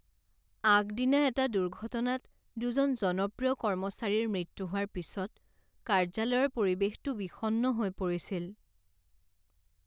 আগদিনা এটা দুৰ্ঘটনাত দুজন জনপ্ৰিয় কৰ্মচাৰীৰ মৃত্যু হোৱাৰ পিছত কাৰ্যালয়ৰ পৰিৱেশটো বিষণ্ণ হৈ পৰিছিল।